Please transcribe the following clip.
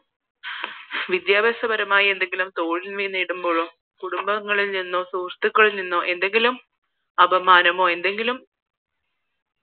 വിദ്യാഭ്യാസപരമായി എന്തെങ്കിലും തോൽവി നേടുമ്പോഴും കുടുംബങ്ങളിൽ നിന്നോ സുഹൃത്തുകളിൽ നിന്നോ എന്തെങ്കിലും അപമാനമോ എന്തെങ്കിലും